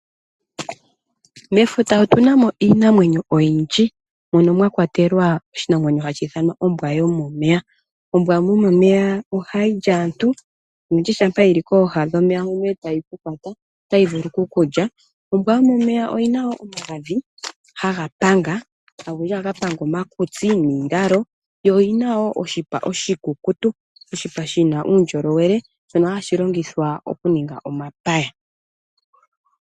Mefuta otuna mo iinamwenyo oyindji mono mwakwatelwa oshinamwenyo hashi I thanwa ombwa yomomeya. Ombwa yomomeya ohayi li aantu oshoka shampa yili kooha dhomeya otayi vulu ku kulya. Ombwa yomomeya oyina woo omagadhi haga panga olundji ohaga panga omakitsi niilalo, yo oyina woo oshipa oshikukutu, oshipa shina uundjolowele shono hashi longithwa oku ninga omapaya.